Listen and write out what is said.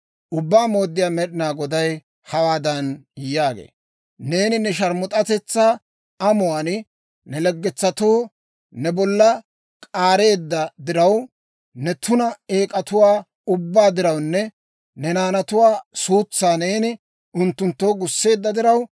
Ubbaa Mooddiyaa Med'inaa Goday hawaadan yaagee; «Neeni ne sharmus'atetsaa amuwaan ne laggetsatoo ne bollaa k'aareedda diraw, ne tuna eek'atuwaa ubbaa dirawunne ne naanatuwaa suutsaa neeni unttunttoo gusseedda diraw,